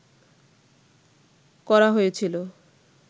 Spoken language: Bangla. করা হয়েছিল